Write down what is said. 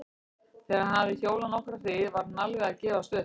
Þegar hann hafði hjólað nokkra hríð var hann alveg að gefast upp.